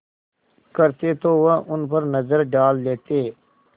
करते तो वह उन पर नज़र डाल लेते